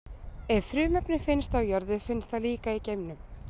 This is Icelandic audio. Ef frumefni finnst á jörðu, finnst það líka í geimnum.